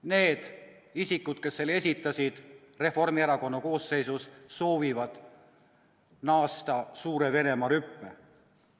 Need isikud, kes selle esitasid, Reformierakonna koosseisus, soovivad naasta suure Venemaa rüppe.